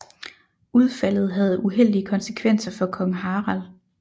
Udfaldet havde uheldige konsekvenser for kong Harald